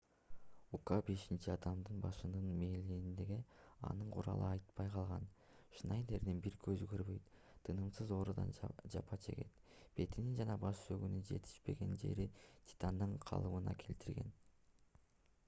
ука бешинчи адамдын башына мээлегенде анын куралы атпай калган шнайдердин бир көзү көрбөйт тынымсыз оорудан жапа чегет бетинин жана баш сөөгүнүн жетишпеген жери титандан калыбына келтирилген